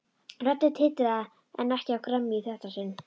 Röddin titraði en ekki af gremju í þetta sinn.